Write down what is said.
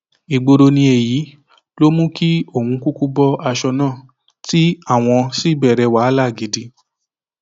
ìgboro ni èyí ló mú kí òun kúkú bọ aṣọ náà tí àwọn sì bẹrẹ wàhálà gidi